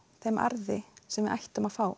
þeim arði sem við ættum að fá